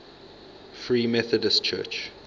free methodist church